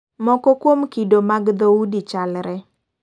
Moko kuom kido mag dhoudi chalre.